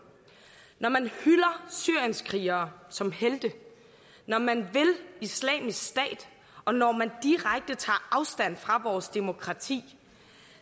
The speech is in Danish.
når man hylder syrienskrigere som helte når man vil islamisk stat og når man direkte tager afstand fra vores demokrati